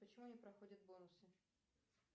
почему не проходят бонусы